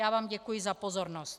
Já vám děkuji za pozornost.